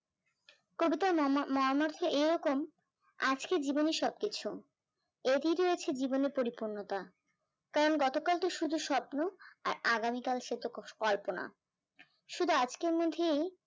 কবিতার মর্মার্থ এইরকম, আজকে জীবনে সবকিছু, এরই রয়েছে জীবনে পরিপূর্ণতা, কারণ গতকাল তো শুধু স্বপ্ন আর আগামীকাল শুধু কল্পনা, সুহাদ আজকের মধ্যেই